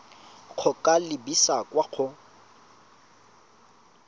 go ka lebisa kwa go